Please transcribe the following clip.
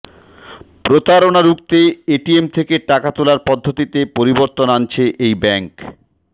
প্রতারণা রুখতে এটিএম থেকে টাকা তোলার পদ্ধতিতে পরিবর্তন আনছে এই ব্যাঙ্ক